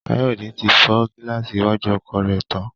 Káyọ̀dé ti fọ gíláàsì iwájú ọkọ̀ rẹ̀ tán